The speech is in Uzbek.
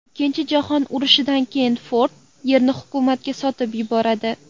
Ikkinchi jahon urushidan keyin Ford yerni hukumatga sotib yuboradi.